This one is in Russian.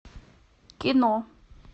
кино